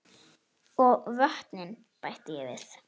Og vötnin bætti ég við.